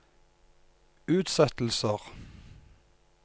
utsettelser